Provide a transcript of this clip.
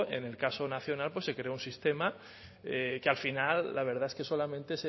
en el caso nacional se creó un sistema que al final la verdad es que solamente